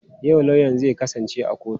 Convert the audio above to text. Yau lauyan zai kasance a kotu?